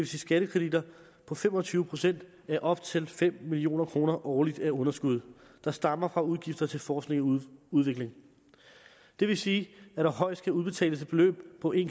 sige skattekreditter på fem og tyve procent af op til fem million kroner årligt af underskud der stammer fra udgifter til forskning og udvikling det vil sige at der højst kan udbetales et beløb på en